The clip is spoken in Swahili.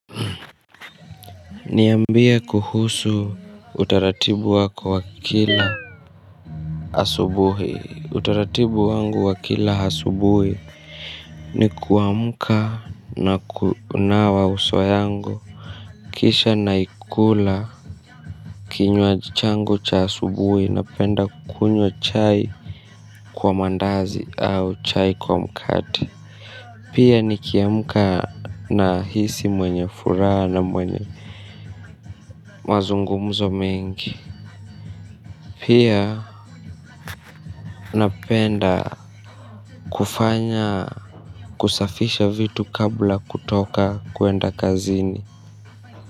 Niambie kuhusu utaratibu wako wa kila asubuhi utaratibu wangu wa kila asubuhi. Ni kuamka na kunawa uso yangu. Kisha naikula kinywa changu cha asubuhi napenda kunywa chai kwa mandazi au chai kwa mkate. Pia nikiamka nahisi mwenye furaha na mwenye mazungumzo mengi. Pia napenda kufanya kusafisha vitu kabla kutoka kwenda kazini.